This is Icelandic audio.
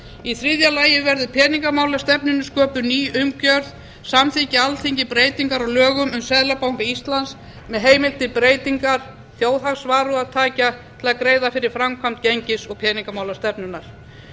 í þriðja lagi verður peningamálastefnunni sköpuð ný umgjörð samþykki alþingi breytingar á lögum um seðlabanka íslands með heimild til breytingar þjóðhagsvarúðartækja til að greiða fyrir framkvæmd gengis og peningamálastefnunnar